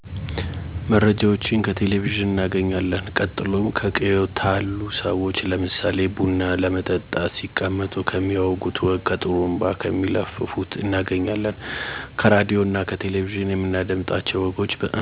መረጃወችን ከቴሌቨዥን እናገኝለን ቀጥሎም ከቅየው ታሉ ሰዎች ለምሳሌ ቡና ለመጠጣት ሲቀመጡ ከሚያወጉት ወግ ከጡሩንባ ከሚለፍፉት እናገኛለን። ከራድዮ እና ከቴሌቨዥን የምናዳምጣቸው ወጎችን አምናቸዋለሁ ምክንያቱም ስለተፈጠረው ወግ አጣርቶ ሰለሚያሳውቀን። እንዲሁም ስላለሁበት ቅየው ከመንደርተኞች በሚወጋ ወግ ለምሳሌ ከጥሩንባ ለፋፉወች፣ ከድርተኞች ከሚመጣ ወግ አምናለሁ። የማምንበት ምክንያት መረጃው ከዛው ከቅርብ ሰለሚያገኙ።